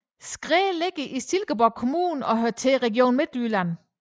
Skræ ligger i Silkeborg Kommune og hører til Region Midtjylland